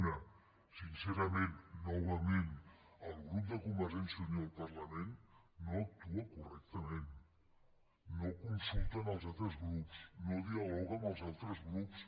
una sincerament novament el grup de convergència i unió al parlament no actua correctament no consulta als altres grups no dialoga amb els altres grups